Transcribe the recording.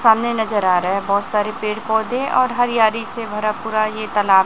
सामने नजर आ रहा है बहुत सारे पेड़ पौधे और हरियाली से भरा पूरा ये तालाब--